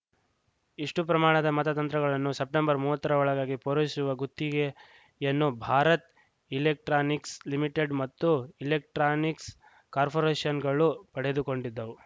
ಇಷ್ಟುಪ್ರಮಾಣದ ಮತತಂತ್ರಗಳನ್ನು ಸೆಪ್ಟೆಂಬರ್ ಮೂವತ್ತರ ಒಳಗಾಗಿ ಪೂರೈಸುವ ಗುತ್ತಿಗೆಯನ್ನು ಭಾರತ್‌ ಇಲೆಕ್ಟ್ರಾನಿಕ್ಸ್‌ ಲಿಮಿಟೆಡ್‌ ಮತ್ತು ಮತ್ತು ಇಲೆಕ್ಟ್ರಾನಿಕ್ಸ್‌ ಕಾರ್ಪೊರೇಷನ್‌ಗಳು ಪಡೆದುಕೊಂಡಿದ್ದವು